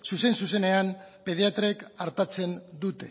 zuzen zuzenean pediatrek artatzen dute